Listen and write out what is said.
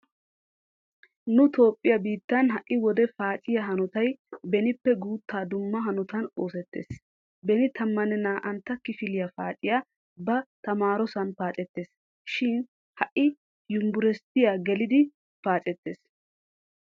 Nu toophphiya biittan ha"i wode paaciya hanotay benippe guuttaa dumma hanotan oosettees. Beni tammanne naa'antta kifiliya paaciya ba tamaarosan paacettees. shin ha"i yumbberesttiya gelidi paacettees.